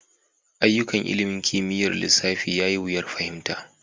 Ayyukan ilimin kimiyyar lissafi ya yi wuyar fahimta.